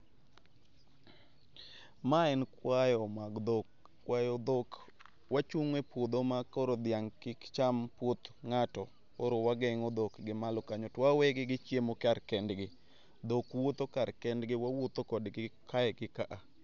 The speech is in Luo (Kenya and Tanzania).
Ma en kwayo mag dhok, kwayo dhok wachung' e puodho makoro dhiang' kik cham puoth ng'ato, koro wageng'o dhok gimalo kanyo to wawegi gichiemo kar kendgi. Dhok wuotho kar kendgi wawuotho kodgi kae gi ka a